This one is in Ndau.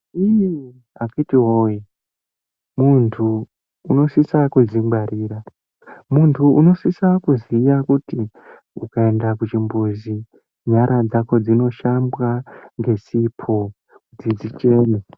Ii akhiti woye muntu unosisa kudzingwarira muntu unosisa kuziya kuti ukaenda kuchimbuzi nyara dzako dzinoshambwa ngesipo kuti dzichene.